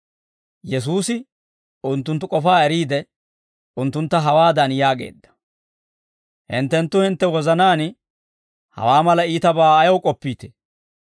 Yesuusi unttunttu k'ofaa eriide, unttuntta hawaadan yaageedda; «Hinttenttu hintte wozanaan hawaa mala iitabaa ayaw k'oppiitee?